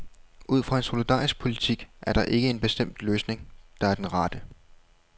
Ud fra en solidarisk politik er der ikke en bestemt løsning, der er den rette.